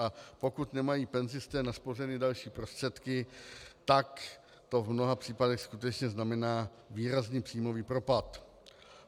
A pokud nemají penzisté naspořeny další prostředky, tak to v mnoha případech skutečně znamená výrazný příjmový propad.